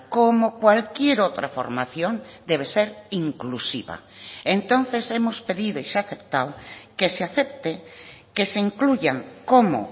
como cualquier otra formación debe ser inclusiva entonces hemos pedido y se ha aceptado que se acepte que se incluyan como